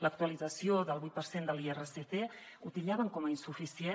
l’actualització del vuit per cent de l’irsc la titllaven com a insuficient